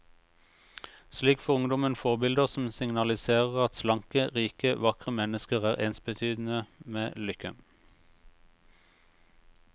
Slik får ungdommen forbilder som signaliserer at slanke, rike, vakre mennesker er ensbetydende med lykke.